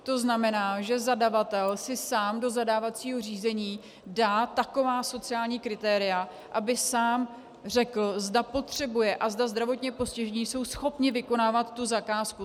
To znamená, že zadavatel si sám do zadávacího řízení dá taková sociální kritéria, aby sám řekl, zda potřebuje a zda zdravotně postižení jsou schopni vykonávat tu zakázku.